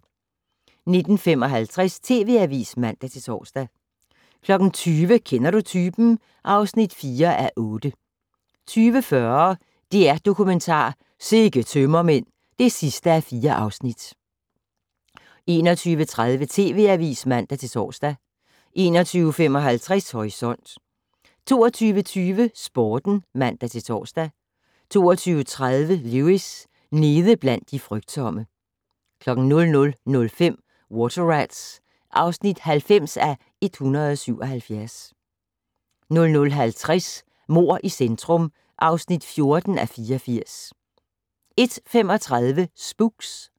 19:55: TV Avisen (man-tor) 20:00: Kender du typen? (4:8) 20:40: DR-Dokumentar: Sikke tømmermænd (4:4) 21:30: TV Avisen (man-tor) 21:55: Horisont 22:20: Sporten (man-tor) 22:30: Lewis: Nede blandt de frygtsomme 00:05: Water Rats (90:177) 00:50: Mord i centrum (14:84) 01:35: Spooks